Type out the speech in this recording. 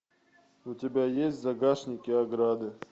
у тебя есть в загашнике ограды